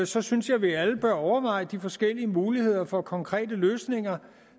så synes jeg at vi alle bør overveje de forskellige muligheder for konkrete løsninger